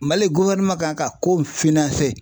Mali kan ka ko